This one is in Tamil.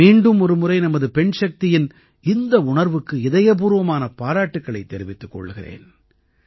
நான் மீண்டுமொருமுறை நமது பெண்சக்தியின் இந்த உணர்வுக்கு இதயப்பூர்வமான பாராட்டுக்களைத் தெரிவித்துக் கொள்கிறேன்